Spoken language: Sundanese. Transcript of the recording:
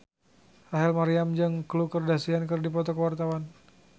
Rachel Maryam jeung Khloe Kardashian keur dipoto ku wartawan